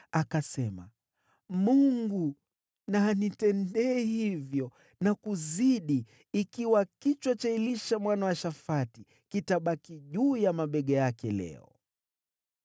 Akasema, “Mungu na anitendee hivyo na kuzidi, ikiwa kichwa cha Elisha mwana wa Shafati kitabaki juu ya mabega yake leo!”